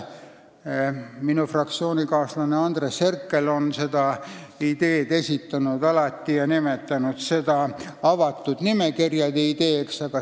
Minu fraktsioonikaaslane Andres Herkel on seda ideed korduvalt esitanud ja ta on nimetanud seda avatud nimekirjade ideeks.